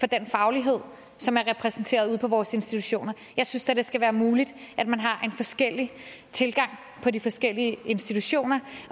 den faglighed som er repræsenteret ude på vores institutioner jeg synes da det skal være muligt at man har en forskellig tilgang på de forskellige institutioner